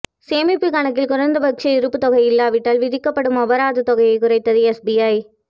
சேமிப்புக் கணக்கில் குறைந்தபட்ச இருப்புத் தொகை இல்லாவிட்டால் விதிக்கப்படும் அபராதத் தொகையைக் குறைத்தது எஸ்பிஐ